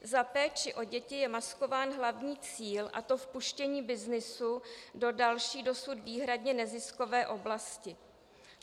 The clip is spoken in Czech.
Za péčí o děti je maskován hlavní cíl, a to vpuštění byznysu do další, dosud výhradně neziskové oblasti.